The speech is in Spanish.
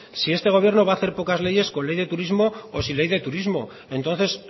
si este gobierno va a hacer pocas leyes con ley de turismo o sin ley de turismo entonces